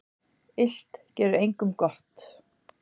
Illt gerir engum gott.